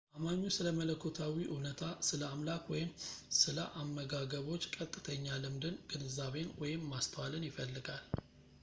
አማኙ ስለ መለኮታዊ እውነታ / ስለ አምላክ ወይም ስለ አመጋገቦች ቀጥተኛ ልምድን ፣ ግንዛቤን ወይም ማስተዋልን ይፈልጋል